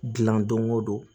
Dilan don o don